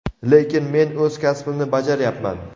lekin men o‘z kasbimni bajaryapman.